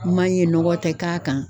Man ɲɛ nɔgɔ tɛ k'a kan.